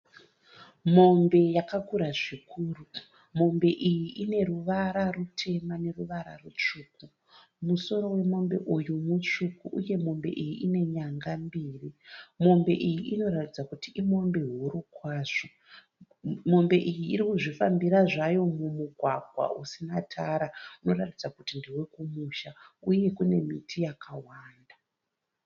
Mombe yakakura zvikuru. Mombe iyi ine ruvara rutema neruvara rutsvuku. Musoro wemombe uyu mutsvuku uye Mombe iyi ine nyanga mbiri. Mombe iyi inoratidza kuti imombe huru kwazvo. Mombe iyi iri kuzvifambira zvayo mumugwagwa usina tara unoratidza ndewekumusha uye kune miti yakawanda.